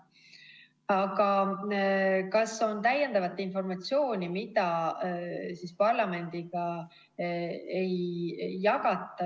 Aga kas on täiendavat informatsiooni, mida parlamendiga ei jagata?